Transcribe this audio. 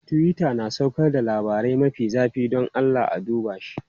Twitter na saukar da labarai mafi zafi, don Allah a duba shi.